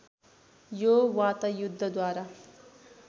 यो वा त युद्धद्वारा